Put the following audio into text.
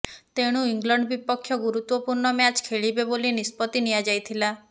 ତେଣୁ ଇଂଲଣ୍ଡ୍ ବିପକ୍ଷ ଗୁରୁତ୍ବପୂର୍ଣ୍ଣ ମ୍ୟାଚ୍ ଖେଳିବେ ବୋଲି ନିଷତ୍ତି ନିଆଯାଇଥିଲା